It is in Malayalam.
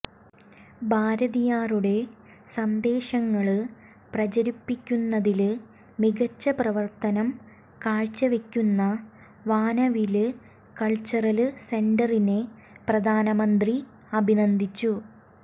ഭാരതിയാറുടെ സന്ദേശങ്ങള് പ്രചരിപ്പിക്കുന്നതില് മികച്ച പ്രവര്ത്തനം കാഴ്ചവെക്കുന്ന വാനവില് കള്ച്ചറല് സെന്ററിനെ പ്രധാനമന്ത്രി അഭിനന്ദിച്ചു